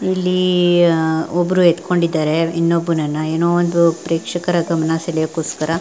ಇಲ್ಲಿ ಒಬ್ಬರು ಎಥಿಕೊಂಡಿದ್ದಾರೆ ಇನ್ನೊಬ್ಬನನ್ನ ಏನೋ ಒಂದು ಪ್ರೇಕ್ಷಕರ ಗಮನ ಸೆಳೆಯೋದಕ್ಕೊಸ್ಕರ.